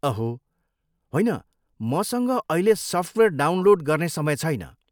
अहो, होइन, मसँग अहिले सफ्टवेयर डाउनलोड गर्ने समय छैन।